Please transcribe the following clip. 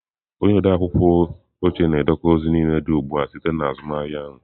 Onye odeakwụkwọ oche na-edekọ ozi niile dị ugbu a site na azụmahịa ahụ.